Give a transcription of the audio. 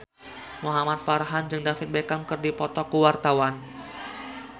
Muhamad Farhan jeung David Beckham keur dipoto ku wartawan